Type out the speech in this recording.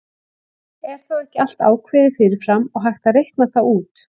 Er þá ekki allt ákveðið fyrir fram og hægt að reikna það út?